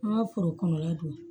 An ka foro kɔnɔla don